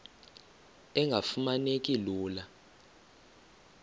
engafuma neki lula